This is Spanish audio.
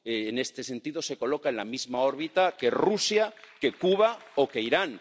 En este sentido se coloca en la misma órbita que Rusia, que Cuba o que Irán.